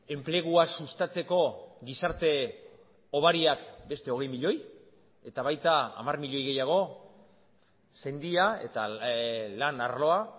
enplegua sustatzeko gizarte hobariak beste hogei milioi eta baita hamar milioi gehiago sendia eta lan arloa